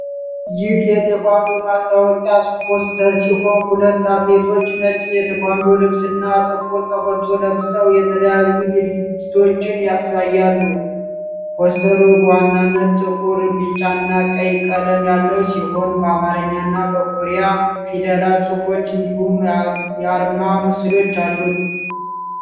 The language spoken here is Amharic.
ይህ የ"ቴኳንዶ" ማስተዋወቂያ ፖስተር ሲሆን ሁለት አትሌቶች ነጭ የቴኳንዶ ልብስና ጥቁር ቀበቶ ለብሰው የተለያዩ ድርጊቶችን ያሳያሉ። ፖስተሩ በዋናነት ጥቁር፣ ቢጫና ቀይ ቀለም ያለው ሲሆን፣ በአማርኛና በኮሪያ ፊደላት ጽሑፎች እንዲሁም የአርማ ምስሎች አሉት።